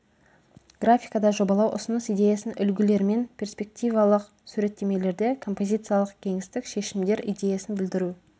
графикада жобалау ұсыныс идеясын үлгілермен перспективалық суреттемелерде композициялық кеңістік шешімдер идеясын білдіру